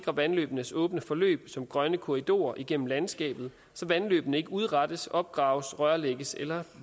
af vandløbenes åbne forløb som grønne korridorer igennem landskabet så vandløbene ikke udrettes opgraves rørlægges eller